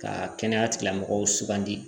Ka kɛnɛya tigilamɔgɔw sugandi